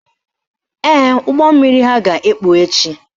Ee, ụgbọmmiri ha ga-ekpu echi